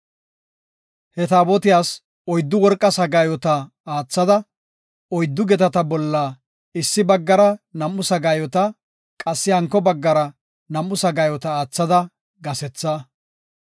He Taabotiyas oyddu worqa sagaayota oothada; oyddu gedata bolla issi baggara nam7u sagaayota, qassi hanko baggara nam7u sagaayota aathada gasetha.